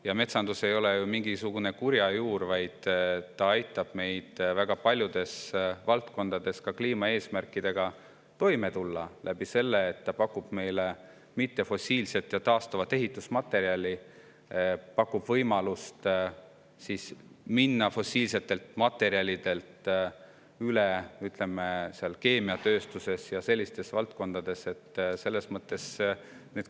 Ja metsandus ei ole ju mingisugune kurja juur, vaid see aitab meil väga paljudes valdkondades kliimaeesmärkidega toime tulla, kuna pakub meile mittefossiilset ja taastuvat ehitusmaterjali ning võimalust minna fossiilsetelt materjalidelt üle keemiatööstuses ja valdkondades.